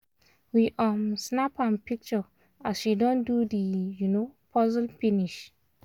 we um snap m picture as she don do the um puzzle finish